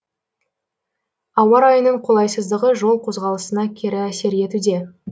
ауа райының қолайсыздығы жол қозғалысына кері әсер етуде